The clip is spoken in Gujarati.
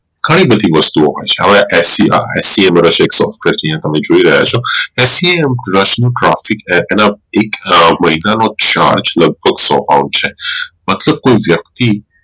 ઘણી બધી વસ્તુ ઓ હોઈ છે હવે એ sca એક વરશું નું profit એક મહિના નો charge લગભગ સો હોઈ છે મતલબ કોઈ વયકતી